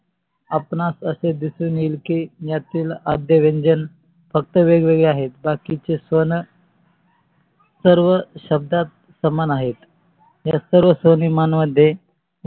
आपणास असे दिसून येईल कि यातील अर्धा व्यंजन फक्त वेगवेगळे आहेत बाकीचे स्वन सर्व शब्दात समान आहेत. या सर्व स्वनिमान मध्ये